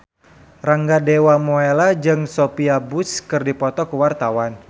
Rangga Dewamoela jeung Sophia Bush keur dipoto ku wartawan